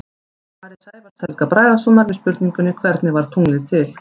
Í svari Sævars Helga Bragasonar við spurningunni Hvernig varð tunglið til?